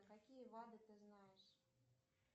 какие вады ты знаешь